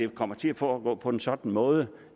kommer til at foregå på en sådan måde